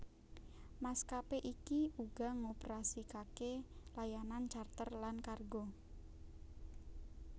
Maskapé iki uga ngoperasikake layanan charter lan kargo